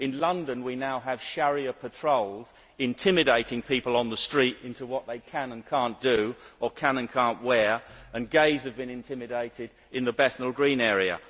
In London we now have Sharia patrols intimidating people on the street on what they can or cannot do or can or cannot wear, and gays have been intimidated in the Bethnal Green area.